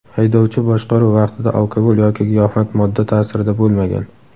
haydovchi boshqaruv vaqtida alkogol yoki giyohvand modda ta’sirida bo‘lmagan.